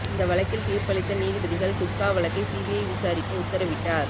இந்த வழக்கில் தீர்ப்பளித்த நீதிபதிகள் குட்கா வழக்கை சிபிஐ விசாரிக்க உத்தரவிட்டார்